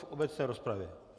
V obecné rozpravě.